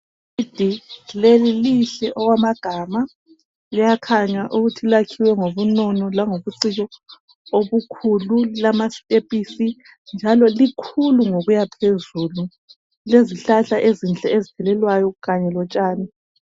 Ibhilidi leli lihle okwamagama liyakhanya ukuthi lakhiwe ngobunono langobuciko obukhulu lilama stephisi njalo likhulu ngokuya phezulu kulezihlahla ezinhle kakhulu ezibukekayo kanye lotshani.